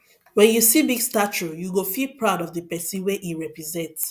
wen you see big statue you go feel proud of the person wey e represent